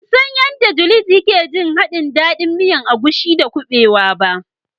Ban san yanda " Juliet" ya ke jin dandin haɗin miyan agushi da kubewa ba.